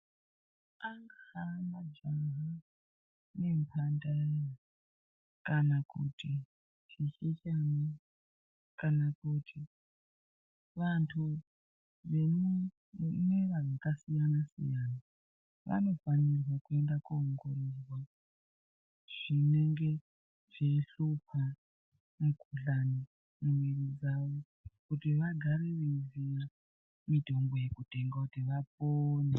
Angaa majaha nemhandara kana kuti zvisikana, kana kuti vantu vemwera wakasiyana-siyana vanofanire kuenda koongororwa zvinenge zveishupa, mikhuhlani mumwiri dzavo, kuti vagare veiziya mitombo yekutenga kuti vapone.